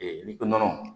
n'i ko nɔnɔ